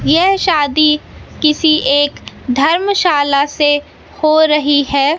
यह शादी किसी एक धर्मशाला से हो रही है।